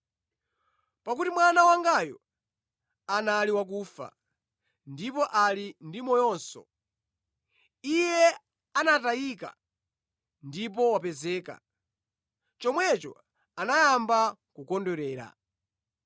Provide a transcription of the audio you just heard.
Pakuti mwana wangayu anali wakufa, ndipo ali ndi moyonso; iye anatayika ndipo wapezeka.’ Chomwecho anayamba kukondwerera.